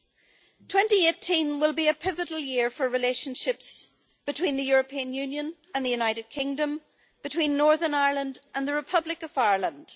2018 will be a pivotal year for relationships between the European Union and the United Kingdom, and between Northern Ireland and the Republic of Ireland.